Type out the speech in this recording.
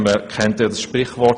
Wir kennen alle das Sprichwort: